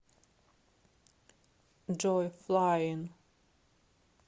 джой флаин